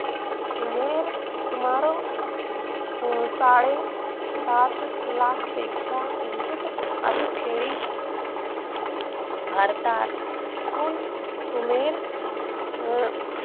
सुमीर सुमारे साडे सात लाख पेक्षा किंचित भारतातून सुमीर अं